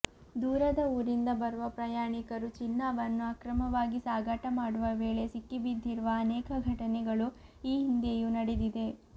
ದೂರದ ಊರಿಂದ ಬರುವ ಪ್ರಯಾಣಿಕರು ಚಿನ್ನವನ್ನು ಅಕ್ರಮವಾಗಿ ಸಾಗಾಟ ಮಾಡುವ ವೇಳೆ ಸಿಕ್ಕಿಬಿದ್ದಿರುವ ಅನೇಕ ಘಟನೆಗಳು ಈ ಹಿಂದೆಯೂ ನಡೆದಿದೆ